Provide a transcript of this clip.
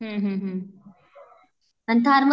हम्म हम्म हम्म.